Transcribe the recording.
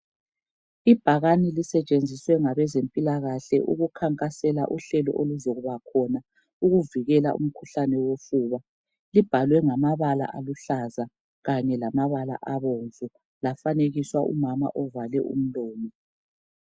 Ibhakani lisetshenziswe ngabezempilakahle ukukhankasela uhlelo oluzakubakhona ukuvukela umkhuhlane wofuba libhalwe ngamabala aluhlaza kanye lamabala abomvu lafabekiswa umama ovale umlomo